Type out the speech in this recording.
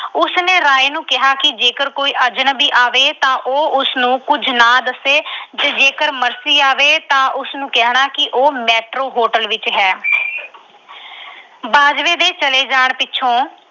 ਉਸਨੇ ਰਾਏ ਨੂੰ ਕਿਹਾ ਕਿ ਜੇਕਰ ਕੋਈ ਅਜਨਬੀ ਆਵੇ ਤਾਂ ਉਹ ਉਸਨੂੰ ਕੁਝ ਨਾ ਦੱਸੇ ਤੇ ਜੇ ਮਰਸੀ ਆਵੇ ਤਾਂ ਉਸਨੂੰ ਕਹਿਣਾ ਕਿ ਉਹ Metro Hotel ਵਿੱਚ ਹੈ।